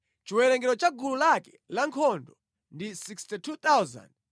Chiwerengero cha gulu lake lankhondo ndi 62,700.